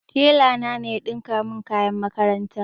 Tela na ne ya ɗinka min kayan makaranta